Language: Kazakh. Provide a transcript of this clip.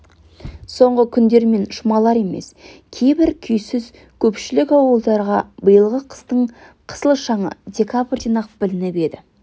соңғы күндер мен жұмалар емес кейбір күйсіз көпшілік ауылдарға биылғы қыстың қысыл шаңы декабрьден-ақ білініп еді